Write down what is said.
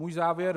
Můj závěr.